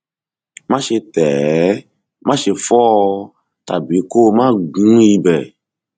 máṣe tẹ ẹ máṣe fọ ọ tàbí kó o máa gún ibẹ